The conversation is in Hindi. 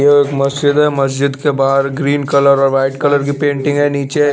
ये एक मजीद है मजीद के बहार ग्रीन कलर और वाइट कलर पेंटिंग है नीचे--